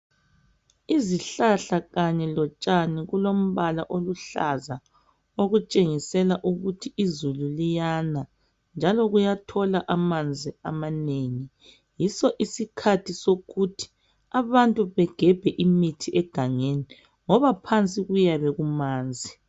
Izihlahla kanye lotshani kulombala oluhlaza okutshengisela ukuthi izulu liyana njalo kuyathola amanzi amanengi. Yiso isikhathi sokuthi abantu begebhe imithi egangeni ngoba phansi kuyabe kumanzi.